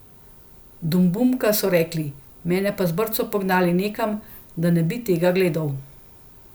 Dumdumka, so rekli, mene pa z brco pognali nekam, da ne bi tega gledal.